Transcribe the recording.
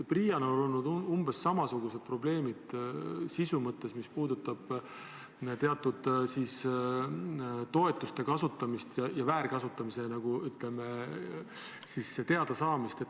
PRIA-l on olnud umbes samasugused töö sisu probleemid, mis puudutavad teatud toetuste väärkasutamist.